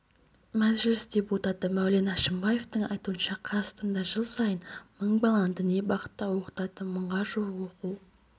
мәжіліс депутаты мәулен әшімбаевтың айтуынша қазақстанда жыл сайны мың баланы діни бағытта оқытатын мыңға жуық оқу